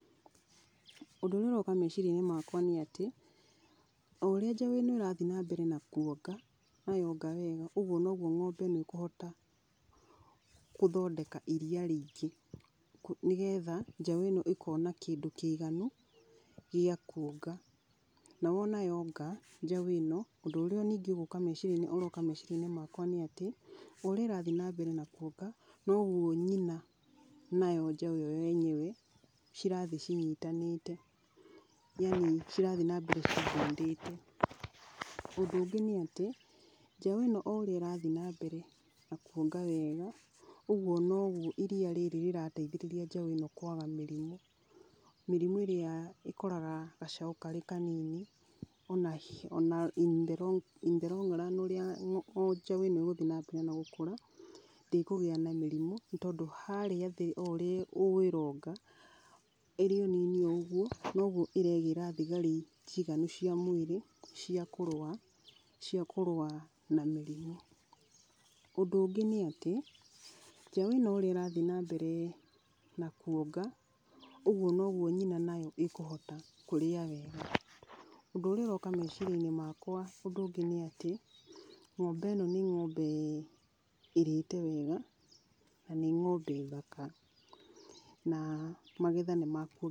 Ũndũ ũrĩa ũroka meciria-inĩ makwa nĩ atĩ, o ũrĩa njaũ ĩno ĩrathiĩ na mbere na kuonga, na yonga wega, ũguo noguo ng'ombe ĩno ĩkũhota gũthondeka iria rĩingĩ, nĩgetha njaũ ĩno ĩkona kĩndũ kĩiganu gĩa kuonga, na wona yonga, njaũ ĩno, ũndũ ũrĩa ningĩ ũroka meciria-inĩ makwa nĩ atĩ, o ũrĩa ĩrathiĩ na mbere na kuonga, noguo nyina nayo njaũ ĩyo yenyewe cirathiĩ cinyitanĩte, yani cirathiĩ na mbere ci bond ĩte. Ũndũ ũngĩ nĩ atĩ, njaũ ĩno o ũrĩa ĩrathiĩ na mbere na kuonga wega, ũguo noguo iria rĩrĩ rĩrateithĩrĩria njaũ ĩno kwaga mĩrimũ, mĩrimũ ĩrĩa ĩkoraga gacaũ karĩ kanini, ona in the long run ũrĩa njaũ ĩno ĩgũthiĩ na mbere na gũkũra, ndĩkũgĩa na mĩrimũ tondũ harĩa thĩ o ũrĩa ĩronga, ĩrĩ o nini o ũguo, noguo ĩregĩra thigari njiganu cia mwĩrĩ, cia kũrũa , cia kũrũa na mĩrimũ. Ũndũ ũngĩ nĩ atĩ, njaũ ĩno o ũrĩa ĩrathiĩ na mbere na kuonga, ũguo noguo nyina nayo ĩkũhota kũrĩa wega, ũndũ ũrĩa ũroka meciria-inĩ makwa ũndũ ũngĩ nĩ atĩ, ng'ombe ĩno nĩ ng'ombe ĩrĩte wega, na nĩ ng'ombe thaka na magetha nĩ makuongerereka.